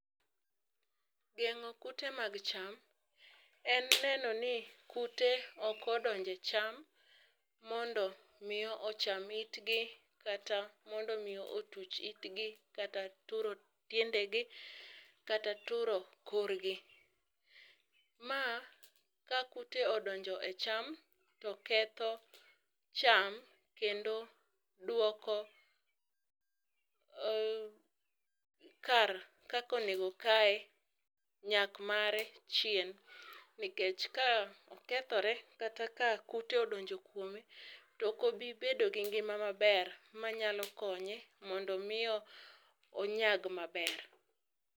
geng'o kute mag cham, en neno ni kute ok odonje cham mondo mi ocham itgi, kata mondo mi otuch itgi, kata turo tiendegi, kata turo korgi. Ma ka kute odonjo e cham to ketho cham kendo duoko kar kaka onego okaye nyak mare chien, nikech ka okethore kata ka kute odonjo kuome tokobi bedo gi ngima maber manyalo konye mondo mi onyag maber.